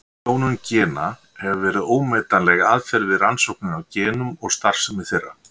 Klónun gena hefur verið ómetanleg aðferð við rannsóknir á genum og starfsemi þeirra.